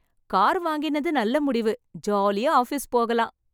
Car வாங்கினது நல்ல முடிவு, ஜாலியா ஆபீஸ் போகலாம்.